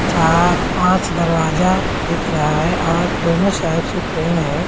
चार- पांच दरवाजा दिख रहा है और दोनों साइड से पेड़ हैं।